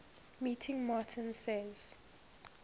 meeting martin says